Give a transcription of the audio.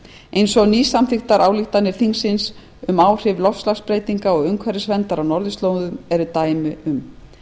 eins og nýsamþykktar ályktanir þingsins um áhrif loftslagsbreytinga og umhverfisverndar á norðurslóðum eru dæmi um